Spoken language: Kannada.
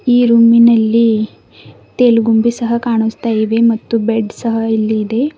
ಈ ರೂಮಿನಲ್ಲಿ ತೆಲ್ ಗುಂಬಿ ಸಹ ಕಾಣಿಸ್ತಾ ಇದೆ ಮತ್ತು ಬೆಡ್ ಸಹ ಇಲ್ಲಿ ಇದೆ.